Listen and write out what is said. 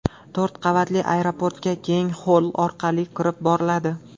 To‘rt qavatli aeroportga keng xoll orqali kirib boriladi.